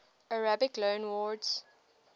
arabic loanwords